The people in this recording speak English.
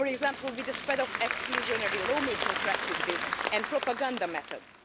For example, with the spread of exclusionary law making practices and propaganda methods.